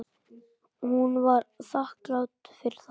Hún var þakklát fyrir það.